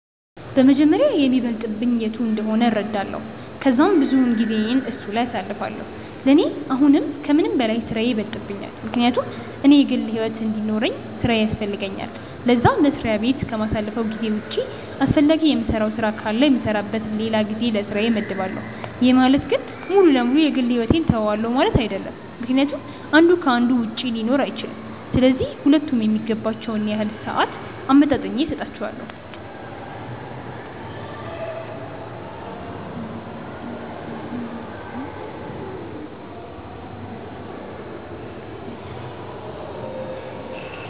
በመጀመሪያ የሚበልጥብኝ የቱ እንደሆነ እረዳለው ከዛም ብዙውን ጊዜየን እሱ ላይ አሳልፋለው፤ ለኔ አሁን ከምንም በላይ ስራዬ ይበልጥብኛል ምክንያቱም እኔ የግል ሕይወት እንዲኖርውኝ ስራዬ ያስፈልገኛል ለዛ፤ መስሪያ በት ከማሳልፈው ጊዜ ውጪ አስፈላጊ የምሰራው ነገር ካለ የምሰራበት ለላ ጊዜ ለስራዬ መድባለው፤ ይህ ማለት ግን ሙሉ ለ ሙሉ የ ግል ሕይወቴን ትውዋለው ማለት አይድለም ምክንያቱም አንዱ ከ አንዱ ውጪ ሊኖር አይችልም፤ ስለዚህ ሁለቱም የሚገባቸውን ያህል ሰአት አመጣጥኜ ሰጣቸዋለው።